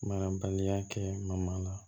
Ma baliya kɛ ma la